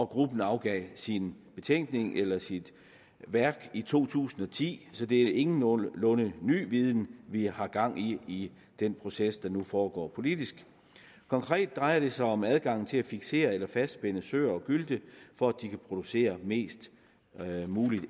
gruppen afgav sin betænkning eller sit værk i to tusind og ti så det er ingenlunde ny viden vi har gang i i den proces der nu foregår politisk konkret drejer det sig om adgangen til at fiksere eller fastspænde søer og gylte for at de kan producere på mest